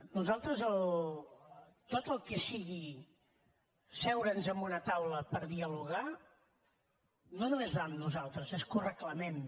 nosaltres tot el que sigui seure’ns en una taula per dialogar no només va amb nosaltres és que ho reclamem